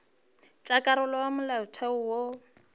tša karolo ya molaotheo wo